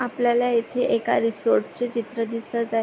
आपल्याला इथे एका रिसॉर्ट चे चित्र दिसत आहे.